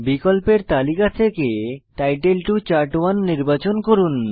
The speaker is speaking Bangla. বিকল্পের তালিকা থেকে টাইটেল টো চার্ট1 নির্বাচন করুন